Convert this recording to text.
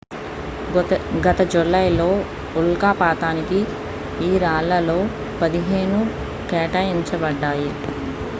గత జూలైలో ఉల్కాపాతానికి ఈ రాళ్లలో పదిహేను కేటాయించబడ్డాయి